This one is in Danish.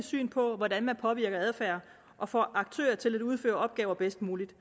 syn på hvordan man påvirker adfærd og får aktører til at udføre opgaver bedst muligt